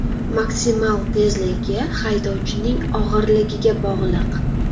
Maksimal tezligi haydovchining og‘irligiga bog‘liq.